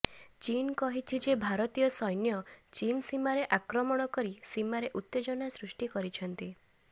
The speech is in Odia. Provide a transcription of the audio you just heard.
ଚୀନ୍ କହିଛି ଯେ ଭାରତୀୟ ସୈନ୍ୟ ଚୀନ୍ ସୀମାରେ ଆକ୍ରମଣ କରି ସୀମାରେ ଉତ୍ତେଜନା ସୃଷ୍ଟି କରିଛନ୍ତି